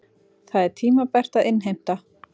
Það er tímabært að innheimta.